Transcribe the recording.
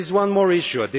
There is one more issue.